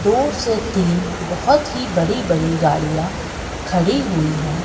दो से तीन बोहोत ही बड़ी बड़ी गाड़ियां खड़ी हुई है।